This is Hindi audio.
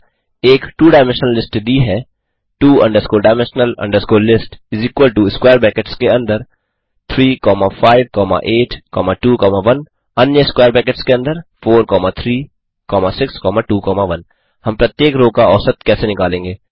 एक टू डायमेंशनल लिस्ट दी है two dimensional list इस इक्वल टो स्क्वेयर ब्रैकेट्स के अंदर 35821 अन्य स्क्वेयर ब्रैकेट्स के अंदर 43621 हम प्रत्येक रो का औसत कैसे निकालेंगे